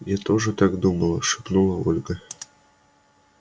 я тоже так думала шепнула ольга